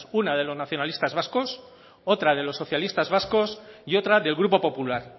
una de los nacionalistas vascos otra de los socialistas vascos y otra del grupo popular